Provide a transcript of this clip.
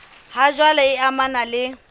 ha jwale e amanang le